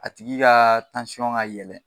A tigi ka ka yɛlɛn